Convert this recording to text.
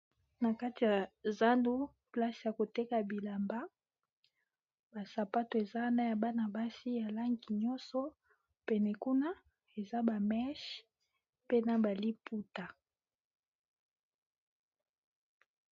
NA Kati ya zandu place ya koteka bilamba basapato eza wana ya bana-basi ya langi nyonso pene kuna eza bameshe pena baliputa .